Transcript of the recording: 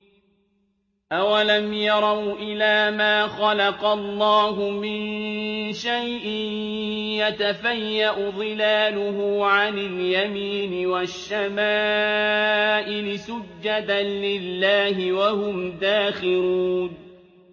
أَوَلَمْ يَرَوْا إِلَىٰ مَا خَلَقَ اللَّهُ مِن شَيْءٍ يَتَفَيَّأُ ظِلَالُهُ عَنِ الْيَمِينِ وَالشَّمَائِلِ سُجَّدًا لِّلَّهِ وَهُمْ دَاخِرُونَ